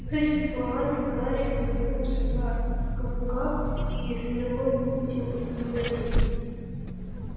с этими словами гарри повернулся на каблуках и стрелой вылетел из библиотеки